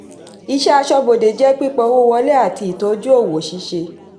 ìṣẹ́ aṣọ́bodè jẹ́ pípa owó wọlé àti ìtọ́jú òwò ṣíṣe.